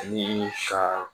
Ani ka